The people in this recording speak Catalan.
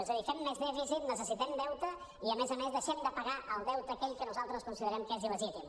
és a dir fem més dèficit necessitem deute i a més a més deixem de pagar el deute aquell que nosaltres considerem que és il·legítim